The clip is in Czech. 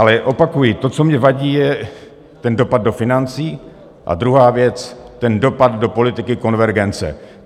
Ale opakuji, to, co mně vadí, je ten dopad do financí a druhá věc, ten dopad do politiky konvergence.